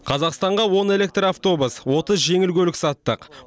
қазақстанға он электроавтобус отыз жеңіл көлік саттық